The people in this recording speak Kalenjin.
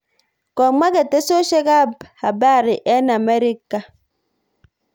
Komwa ketesyosek ab habari eng amerika kole